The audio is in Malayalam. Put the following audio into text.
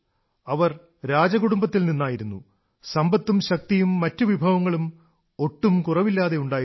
അവർ രാജകുടുംബത്തിൽ നിന്നായിരുന്നു സമ്പത്തും ശക്തിയും മറ്റു വിഭവങ്ങളും ഒട്ടും കുറവില്ലാതെ ഉണ്ടായിരുന്നു